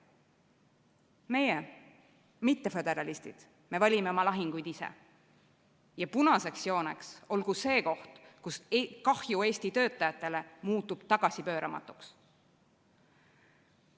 Meie, mitteföderalistid, me valime oma lahinguid ise ja punaseks jooneks olgu see koht, kus kahju Eesti töötajatele muutub tagasipööramatuks.